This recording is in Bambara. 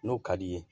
N'o ka d'i ye